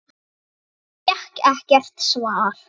En fékk ekkert svar.